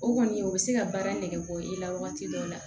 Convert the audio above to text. O kɔni o bɛ se ka baara nege bɔ i la wagati dɔw la